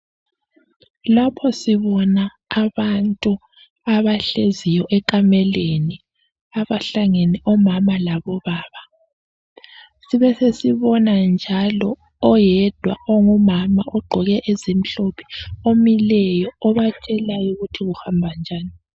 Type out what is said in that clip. Lapho sibona abantu abahleziyo ekhameleni, abahlangene omama labobaba. Sibe sesibona njalo oyedwa ongumama ogqoke ezimhlophe imileyo obatshelayo ukuthi kuhamba njani.